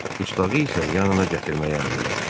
Dustağı isə yanına gətirməyi əmr elədi.